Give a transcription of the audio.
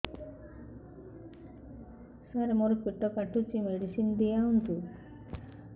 ସାର ମୋର ପେଟ କାଟୁଚି ମେଡିସିନ ଦିଆଉନ୍ତୁ